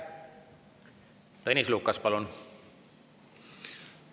Tõnis Lukas, palun!